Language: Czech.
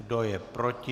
Kdo je proti?